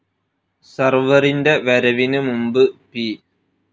സർവറിൻ്റെ വരവിന് മുമ്പ് പി.